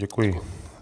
Děkuji.